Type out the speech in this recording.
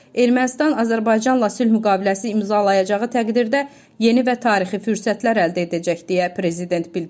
Ermənistan Azərbaycanla sülh müqaviləsi imzalayacağı təqdirdə yeni və tarixi fürsətlər əldə edəcək, deyə prezident bildirib.